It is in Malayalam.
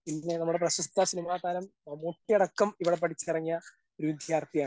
പിന്നെ നമ്മുടെ പ്രശസ്ത സിനിമാതാരം മമ്മൂട്ടി അടക്കം ഇവിടെ പഠിച്ചിറങ്ങിയ ഒരു വിദ്യാർത്ഥിയാണ്.